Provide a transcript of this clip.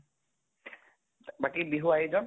বাকী বিহুৰ আয়োজন?